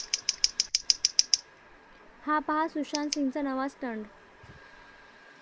हा पाहा सुशांत सिंगचा नवा स्टंट